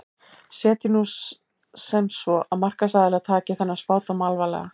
Setjum nú sem svo að markaðsaðilar taki þennan spádóm alvarlega.